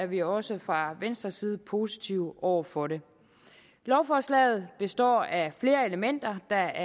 vi også fra venstres side positive over for det lovforslaget består af flere elementer der